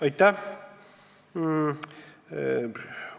Aitäh!